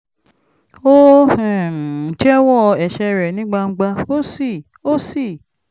ó um jẹ́wọ́ ẹ̀ṣẹ̀ rẹ̀ ní gbangba ó sì ó sì